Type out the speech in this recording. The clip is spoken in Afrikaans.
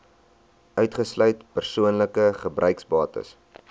uitgesluit persoonlike gebruiksbates